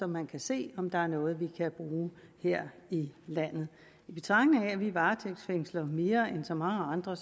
man kan se om der er noget vi kan bruge her i landet i betragtning af at vi varetægtsfængsler mere end så mange andre